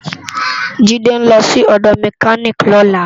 Jide n lò si òdò mèkánikí lòlá